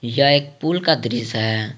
यह एक पूल का दृश्य है।